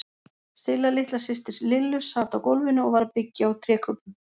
Silla litla systir Lillu sat á gólfinu og var að byggja úr trékubbum.